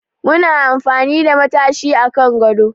Muna amfani da matashi a kan gado